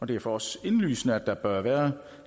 det er for os indlysende at der bør være